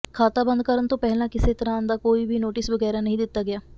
ਖਾਤਾ ਬੰਦ ਕਰਨ ਤੋਂ ਪਹਿਲਾ ਕਿਸੇ ਤਰ੍ਹਾਂ ਦਾ ਕੋਈ ਵੀ ਨੋਟਿਸ ਬਗੈਰਾ ਨਹੀਂ ਦਿੱਤਾ ਗਿਆ